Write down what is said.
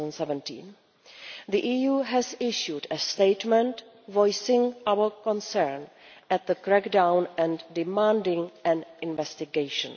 2017. The EU has issued a statement voicing our concern at the crackdown and demanding an investigation.